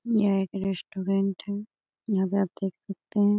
यह एक रेसटूरेंट है यहाँ पे आप देख सकते हैं --